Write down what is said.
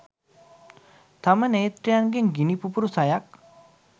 තම නේත්‍රයන්ගෙන් ගිනි පුපුරු සයක්